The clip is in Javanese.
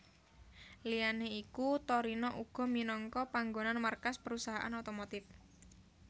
Liyané iku Torino uga minangka panggonan markas perusahaan otomotif